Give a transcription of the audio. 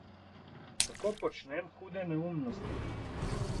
Tako počnem hude neumnosti.